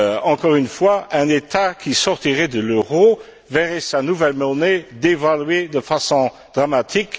Encore une fois, un État qui sortirait de l'euro verrait sa nouvelle monnaie dévaluée de façon dramatique.